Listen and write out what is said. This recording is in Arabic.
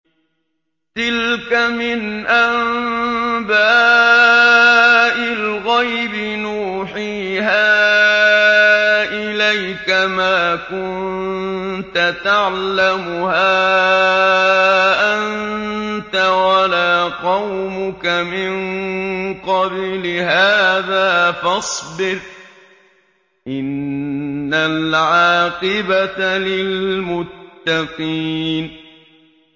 تِلْكَ مِنْ أَنبَاءِ الْغَيْبِ نُوحِيهَا إِلَيْكَ ۖ مَا كُنتَ تَعْلَمُهَا أَنتَ وَلَا قَوْمُكَ مِن قَبْلِ هَٰذَا ۖ فَاصْبِرْ ۖ إِنَّ الْعَاقِبَةَ لِلْمُتَّقِينَ